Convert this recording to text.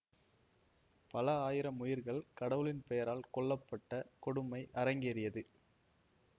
பல ஆயிரம் உயிர்கள் கடவுளின் பெயரால் கொல்ல பட்ட கொடுமை அரங்கேறியது